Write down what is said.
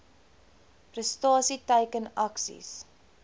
prestasie teiken aksies